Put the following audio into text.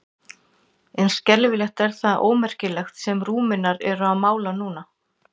En skelfing er það ómerkilegt sem Rúmenar eru að mála núna, sagði